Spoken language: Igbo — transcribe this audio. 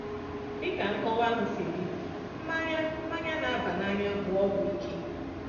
Dị ka nkọwa ahụ si dị, mmanya mmanya na-aba n’anya bụ ọgwụ ike.